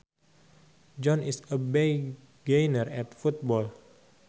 John is a beginner at football